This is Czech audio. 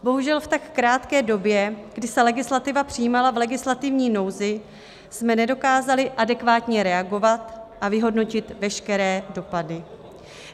Bohužel v tak krátké době, kdy se legislativa přijímala v legislativní nouzi, jsme nedokázali adekvátně reagovat a vyhodnotit veškeré dopady.